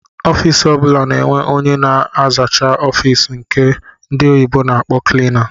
Ọffici ọbula na-enwe ónyé na-azacha ọffici nke ndị oyibo na-akpọ"cleaner"